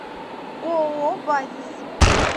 ооо базис